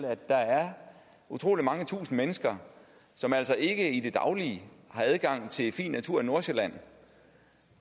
at der er utrolig mange tusind mennesker som altså ikke i det daglige har adgang til fin natur i nordsjælland